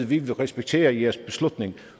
vi vil respektere jeres beslutning